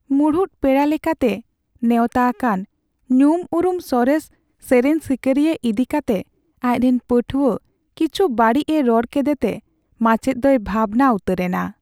ᱢᱩᱲᱩᱫ ᱯᱮᱲᱟ ᱞᱮᱠᱟᱛᱮ ᱱᱮᱣᱛᱟ ᱟᱠᱟᱱ ᱧᱩᱢᱩᱨᱩᱢ ᱥᱚᱨᱮᱥ ᱥᱮᱹᱨᱮᱹᱧ ᱥᱤᱠᱟᱹᱨᱤᱭᱟᱹ ᱤᱫᱤ ᱠᱟᱛᱮ ᱟᱡᱨᱮᱱ ᱯᱟᱹᱴᱷᱩᱣᱟᱹ ᱠᱤᱪᱷᱩ ᱵᱟᱹᱲᱤᱡᱮ ᱨᱚᱲ ᱠᱮᱫᱛᱮ ᱢᱟᱪᱮᱫ ᱫᱚᱭ ᱵᱷᱟᱵᱽᱱᱟ ᱩᱛᱟᱹᱨ ᱮᱱᱟ ᱾